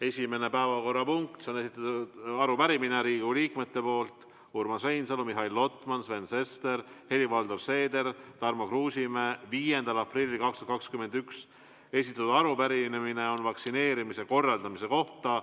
Esimene päevakorrapunkt on Riigikogu liikmete Urmas Reinsalu, Mihhail Lotmani, Sven Sesteri, Helir-Valdor Seederi ja Tarmo Kruusimäe 5. aprillil 2021 esitatud arupärimine vaktsineerimise korraldamise kohta.